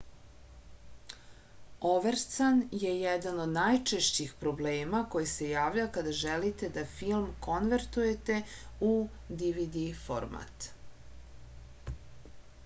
overscan je jedan od najčešćih problema koji se javlja kada želite da film konvertujete u dvd format